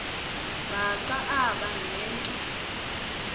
bhaca aba nento